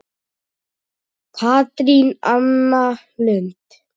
Katrín Anna Lund.